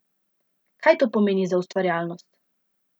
Kaj to pomeni za ustvarjalnost?